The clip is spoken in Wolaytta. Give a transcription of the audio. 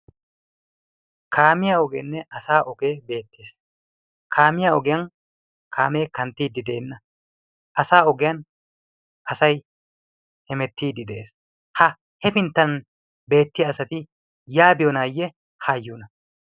kaamiya ogeenne asa ogee beettees. kaamiya ogiyan kaamee kanttiiddi de'enna asa ogiyan asai hemettiiddi de'ees. ha hefinttan beettiya asati yaabiyoonaayye haayyuuna?